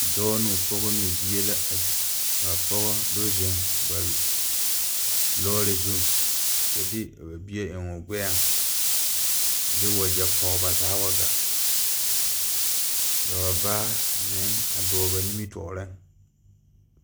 Dɔɔ noo pɔgɔ noo bie la kaa pɔgɔ do zeŋ ba lɔɔre zuŋ kyɛ de o nu bie eŋoo gbɛɛŋ a de wagyɛ pɔg ba zaa wa gaa ka ba baa a meŋ a dɔɔ ba nimitooreŋ.